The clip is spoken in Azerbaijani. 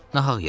Nahaq yerə.